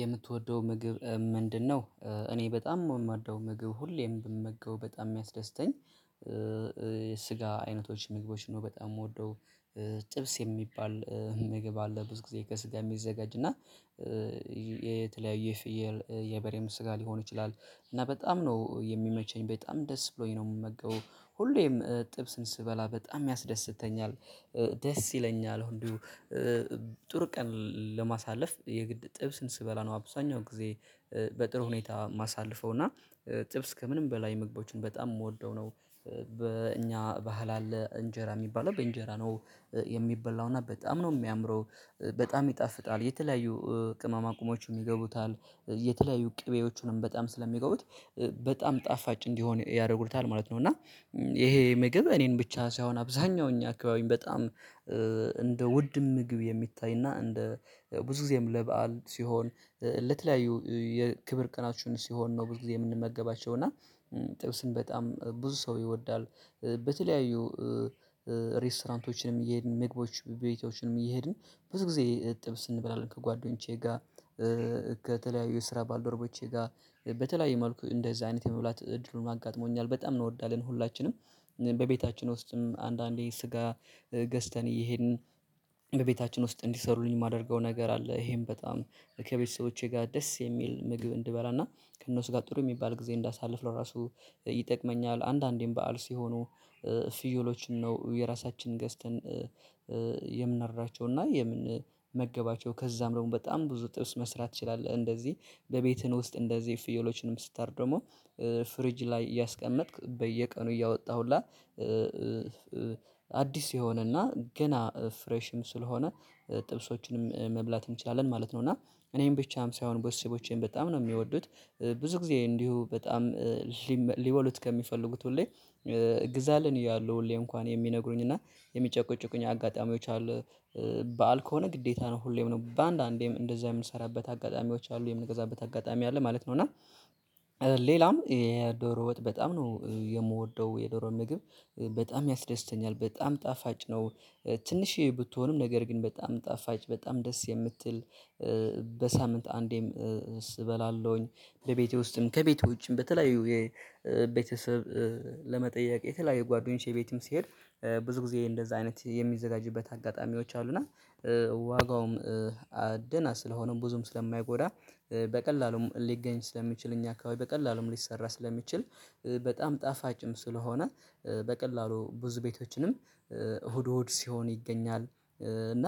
የምትወደው ምግብ ምንድነው? እኔ በጣም የምወደው ምግብ ሁሌም ብመገበው በጣም የሚያስደስተኝ ስጋ አይነቶች ምግቦች ነው። በጣም የምወደው ጥብስ የሚባል ምግብ አለ ብዙ ጊዜ ከስጋ የሚዘጋጅ። እና የተለያዩ የፍየል የበሬም ስጋ ሊሆን ይችላል። እና በጣም ነው የሚመቸኝ፤ በጣም ደስ ብሎኝ ነው የምመገበው። ሁሌም ጥብስን ስበላ በጣም ያስደስተኛል። ደስ ይለኛል ሁሉ። ጥሩ ቀን ለማሳለፍ የግድ ጥብስን ስበላ ነው አብዛኛው ጊዜ በጥሩ ሁኔታ የማሳልፈው። እና ጥብስ ከምንም በላይ ምግቦችን በጣም የምወደው ነው። በእኛ ባህል አለ እንጀራ የሚባለው። በእንጀራ ነው የሚበላው። እና በጣም ነው የሚያምረው፤ በጣም ይጣፍጣል። የተለያዩ ቅመማ ቅመሞችም ይገቡታል፤ የተለያዩ ቅቤዎቹንም በጣም ስለሚገቡት በጣም ጣፋጭ እንዲሆን ያደርጉታል ማለት ነው። እና ይሄ ምግብ እኔን ብቻ ሳይሆን አብዛኛው እኛ አካባቢ በጣም እንደ ውድም ምግብ የሚታይና እንደ ብዙ ጊዜም ለበአል ሲሆን ለተለያዩ የክብር ቀናችን ሲሆን ነው ብዙ ጊዜ የምንመገባቸው። እና ጥብስን በጣም ብዙ ሰው ይወዳል። በተለያዩ ሬስቶራንቶችንም እየሄድን ምግቦች ቤቶችንም እየሄድን ብዙ ጊዜ ጥብስ እንበላለን ከጓደኞቼ ጋር። ከተለያዩ ስራ ባልዶርቦቼ ጋር በተለይ መልኩ እንደዚህ አይነት የመብላት እድሉን አጋጥሞኛል። በጣም እንወዳለን ሁላችንም። በቤታችን ውስጥም አንዳንዴ ስጋ ገዝተን እየሄድን በቤታችን ውስጥ እንዲሰሩልኝ የማደርገው ነገር አለ። ይሄም በጣም ከቤተሰቦቼ ጋር ደስ የሚል ምግብ እንድበላና ከእነሱ ጋር ጥሩ የሚባል ጊዜ እንዳሳልፍለው ራሱ ይጠቅመኛል። አንዳንዴም በዓል ሲሆኑ ፍዩሎችን ነው የራሳችንን ገዝተን የምናርዳቸው እና የምንመገባቸው። ከዛም ደግሞ በጣም ብዙ ጥብስ መስራት ትችላለህ። እንደዚህ በቤትህ ውስጥ እንደዚህ ፍየሎችንም ስታርድ ደግሞ ፍሪጅ ላይ እያስቀመጥክ በየቀኑ እያወጣህ ሁላ አዲስ የሆነና ገና ፍሬሽም ስለሆነ ጥብሶችንም መብላት እንችላለን ማለት ነው። እና እኔም ብቻም ሳይሆን ቤተሰቦቼም በጣም ነው የሚወዱት። ብዙ ጊዜ እንዲሁ በጣም ሊበሉት ከሚፈልጉት ሁሌ ግዛልን እያሉ ሁሌ እንኳን የሚነግሩኝ እና የሚጨቁጭቁኝ አጋጣሚዎች አሉ። በዓል ከሆነ ግዴታ ነው ሁሌም ነው። በአንዳንዴም እንደዛ የምንሰራበት አጋጣሚዎች አሉ፤ የምንገዛበት አጋጣሚ አለ ማለት ነው። እና ሌላም የዶሮ ወጥ በጣም ነው የምወደው። የዶሮ ምግብ በጣም ያስደስተኛል። በጣም ጣፋጭ ነው። ትንሽዬ ብትሆንም ነገር ግን በጣም ጣፋጭ በጣም ደስ የምትል በሳምንት አንዴም እበላለሁኝ። በቤቴ ውስጥም ከቤቴ ውጭም በተለያዩ የቤተሰብ ለመጠየቅ የተለያየ ጓደኞቼ ቤትም ሲሄድ ብዙ ጊዜ እንደዛ አይነት የሚዘጋጅበት አጋጣሚዎች አሉ። እና ዋጋውም ደህና ስለሆነም ብዙም ስለማይጎዳ፣ በቀላሉም ሊገኝ ስለሚችል፣ እኛ አካባቢ በቀላሉም ሊሰራ ስለሚችል፣ በጣም ጣፋጭም ስለሆነ፣ በቀላሉ ብዙ ቤቶችንም እሁድ እሁድ ሲሆን ይገኛል። እና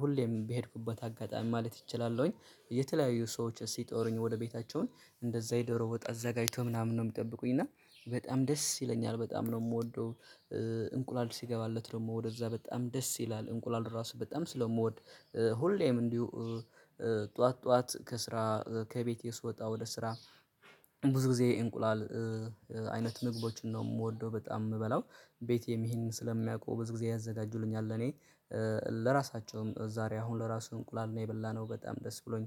ሁሌም በሄድኩበት አጋጣሚ ማለት እችላለሁኝ የተለያዩ ሰዎች ሲጠሩኝ ወደ ቤታቸውን እንደዛ የዶሮ ወጥ አዘጋጅተው ምናምን ነው የሚጠብቁኝ። እና በጣም ደስ ይለኛል። በጣም ነው የምወደው። እንቁላል ሲገባለት ደግሞ ወደዛ በጣም ደስ ይላል። እንቁላል ራሱ በጣም ስለምወድ ሁሌም እንዲሁ ጠዋት ጠዋት ከስራ ከቤቴ ስወጣ ወደ ስራ ብዙ ጊዜ እንቁላል አይነት ምግቦችን ነው የምወደው፤ በጣም የምበላው። ቤቴም ይሄንን ስለሚያውቀው በዚህ ጊዜ ያዘጋጁልኛል እኔ ለራሳቸውም ዛሬ አሁን ለራሱ እንቁላል ነው የበላነው፤ በጣም ደስ ብሎኝ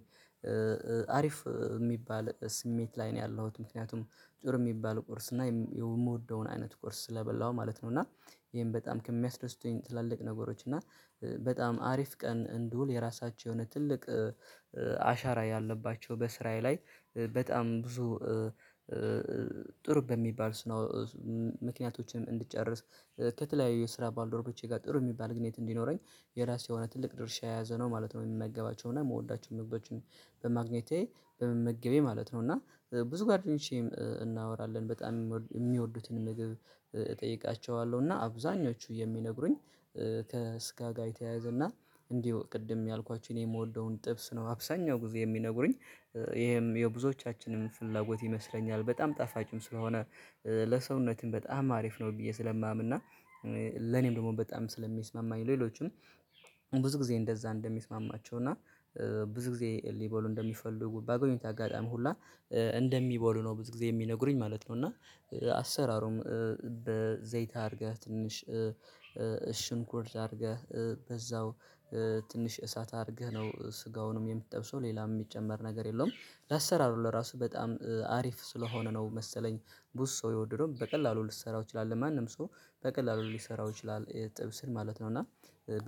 አሪፍ የሚባል ስሜት ላይ ነው ያለሁት። ምክንያቱም ጥሩ የሚባል ቁርስ እና የምወደውን አይነት ቁርስ ስለበላው ማለት ነው። እና ይሄን በጣም ከሚያስደስቱኝ ትላልቅ ነገሮች እና በጣም አሪፍ ቀን እንድውል የራሳቸው የሆነ ትልቅ አሻራ ያለባቸው በስራየ ላይ በጣም ብዙ ጥሩ በሚባል ስነው ምክንያቶችን እንድጨርስ ከተለያዩ የስራ ባልዶሮቼ ጋር ጥሩ የሚባል ግንኙነት እንዲኖረኝ የራሱ የሆነ ትልቅ ድርሻ የያዘ ነው ማለት ነው። የምመገባቸውና የምወዳቸው ምግቦችን በማግኘቴ በመመገቤ ማለት ነው። እና ብዙ ጓደኞቼ እናወራለን በጣም የሚወዱትን ምግብ እጠይቃቸዋለሁ እና አብዛኞቹ የሚነግሩኝ ከስጋ ጋር የተያዘና እንዲሁ ቅድም ያልኳችሁ እኔ የምወደውን ጥብስ ነው አብዛኛው ጊዜ የሚነግሩኝ። ይሄም የብዙዎቻችንን ፍላጎት ይመስለኛል። በጣም ጣፋጭም ስለሆነ ለሰውነትም በጣም አሪፍ ነው ብዬ ስለማምን። እና ለኔም ደግሞ በጣም ስለሚስማማኝ ሌሎችም ብዙ ጊዜ እንደዛ እንደሚስማማቸው እና ብዙ ጊዜ ሊበሉ እንደሚፈልጉ በአገኙት አጋጣሚ ሁላ እንደሚበሉ ነው ብዙ ጊዜ የሚነግሩኝ ማለት ነው። እና አሰራሩም በዘይት አድርገህ ትንሽ ሽንኩርት አድርገህ በዛው ትንሽ እሳት አድርገህ ነው ስጋውንም የምትጠብሰው፤ ሌላም የሚጨመር ነገር የለውም። ለአሰራሩ ለራሱ በጣም አሪፍ ስለሆነ ነው መሰለኝ ብዙ ሰው የወደደው። በቀላሉ ልትሰራው ትችላለህ። ማንም ሰው በቀላሉ ሊሰራው ይችላል ጥብስን ማለት ነው። እና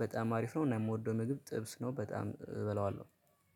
በጣም አሪፍ ነው። እና የምወደው ምግብ ጥብስ ነው በጣም እበለዋለሁ።